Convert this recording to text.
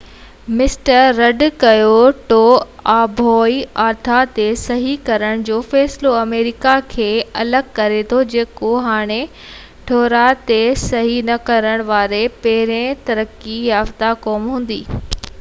mister Rudd Kyoto آبهوا ٺاه تي صحي ڪرڻ جو فيصلو آمريڪا کي الڳ ڪري ٿو جيڪو هاڻي ٺهراءُ تي صحي نہ ڪرڻ واري پهرين ترقي يافتہ قوم هوندي